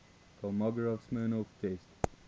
kolmogorov smirnov test